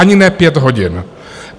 Ani ne pět hodin!